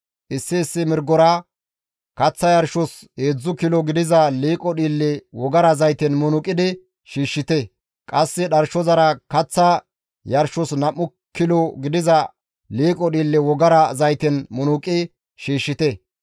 Issi issi mirgora kaththa yarshos heedzdzu kilo gidiza liiqo dhiille wogara zayten munuqidi shiishshite; qasse dharshozara kaththa yarshos nam7u kilo gidiza liiqo dhiille wogara zayten munuqi shiishshite;